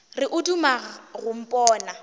re o duma go mpona